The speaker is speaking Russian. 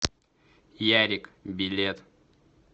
ярик билет